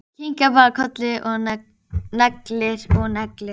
Mér féll allur ketill í eld.